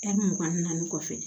mugan ni naani kɔfɛ